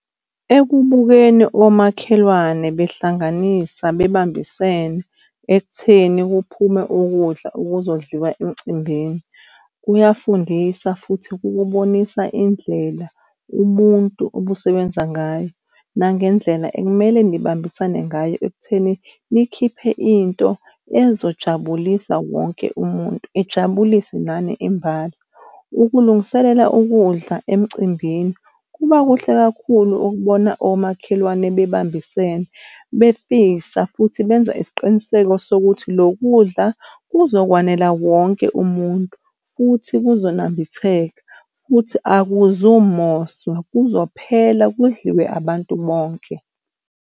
Ekubukeni omakhelwane behlanganisa bebambisene ekutheni kuphume ukudla okuzodliwa emcimbini kuyafundisa futhi kubonisa indlela ubuntu obusebenza ngayo nangendlela ekumele nibambisane ngayo ekutheni nikhiphe into ezojabulisa wonke umuntu ijabulise nani imbala. Ukulungiselela ukudla emcimbini kuba kuhle kakhulu ukubona omakhelwane bebambisene befisa futhi benza isiqiniseko sokuthi lokhu kudla kuzokwanela wonke umuntu, futhi kuzonambitheka futhi akuzumoswa kuzophela kudliwe abantu bonke.